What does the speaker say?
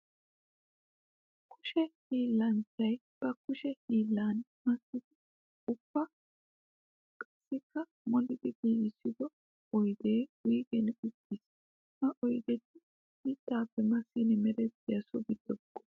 Kushe hiillanchchay ba kushe hiillan massiddi ubba qassikka molliddi giigissiddo oydde wuyggen uttiis. Ha oyddetti mittappe massin merettiya so gido buqura.